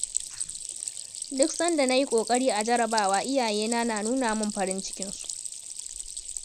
Duk sanda na yi ƙoƙari a jarrabawa iyayena na nuna min farin cikinsu.